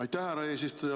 Aitäh, härra eesistuja!